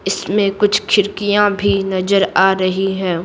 इसमें कुछ खिड़कियां भी नजर आ रही हैं।